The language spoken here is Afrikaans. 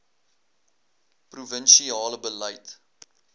provin siale beleid